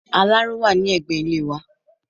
Aláró wà ní ẹgbẹ́ ilé wà